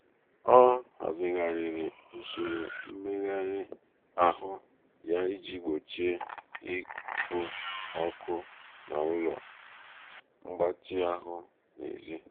ọ hazigharịrị usoro mmegharị ahụ ya iji gbochie iku ọkụ n'ụlọ mgbatị ahụ n'ezi.